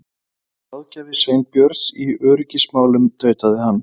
Ég var ráðgjafi Sveinbjörns í öryggismálum- tautaði hann.